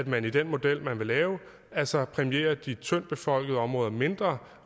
man i den model man vil lave altså præmierer de tyndtbefolkede områder mindre